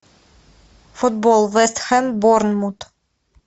футбол вест хэм борнмут